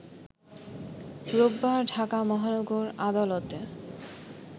রোববার ঢাকা মহানগর আদালতে